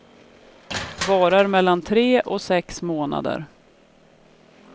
Varar mellan tre och sex månader.